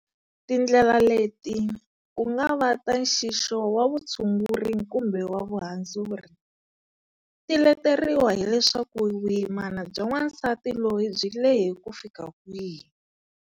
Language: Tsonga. Tindlela leti, ku nga va ta nxixo wa vutshunguri kumbe wa vuhandzuri, ti leteriwa hileswaku vuyimana bya wansati loyi byi lehe ku fika kwihi.